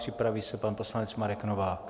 Připraví se pan poslanec Marek Novák.